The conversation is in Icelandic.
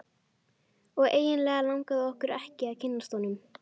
Og eiginlega langaði okkur ekki að kynnast honum.